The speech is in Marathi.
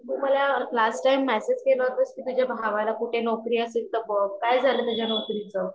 तू माला लास्ट टाइम मैसेज केला होटस की तुझा भावाला कुठे नौकरी असेल तर बघ काय झाला त्याच्या नौकरी च?